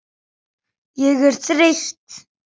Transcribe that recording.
Ég er þreytt.